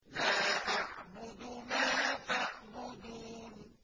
لَا أَعْبُدُ مَا تَعْبُدُونَ